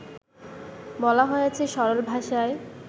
বলা হয়েছে সরল ভাষায়